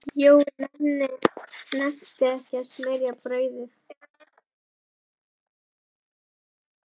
Jói nennti ekkert að smyrja brauðið.